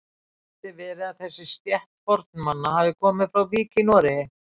Gæti verið að þessi stétt fornmanna hafi komið frá Vík í Noregi?